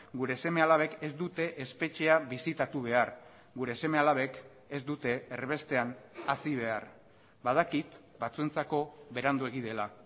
gure seme alabek ez dute espetxea bisitatu behar gure seme alabek ez dute erbestean hazi behar badakit batzuentzako beranduegi dela